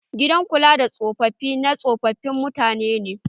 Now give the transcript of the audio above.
Gidan kula da tsofafi na tsofafin mutane ne.